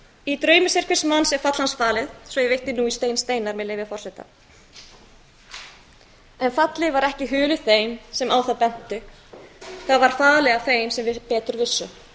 í draumi sérhvers manns er fall hans falið svo ég vitni nú í stein steinar með leyfi forseta en fallið var ekki hulið þeim sem á það bentu það var falið af þeim sem betur vissu